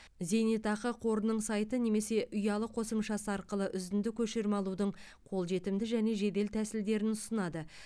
зейнетақы қорының сайты немесе ұялы қосымшасы арқылы үзінді көшірме алудың қолжетімді және жедел тәсілдерін ұсынады